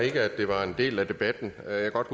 det er